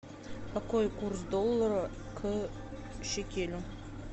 какой курс доллара к шекелю